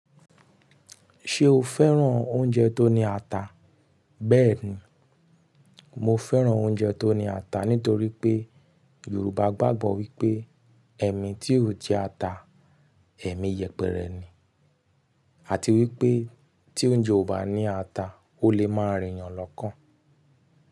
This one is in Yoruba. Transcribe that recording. Ṣé o fẹ́ran oúnjẹ tó ní ata? Bẹ́ẹ̀ni, mo fẹ́ran oúnjẹ tó ní ata nítorí pé Yorùbá gbàgbọ́ wípé ẹ̀mi tí ò jẹ ata, ẹ̀mi yẹpẹrẹ ni àti wípé tí oúnjẹ ò bá ní ata, ó lè máa rìn yàn lọ́kàn.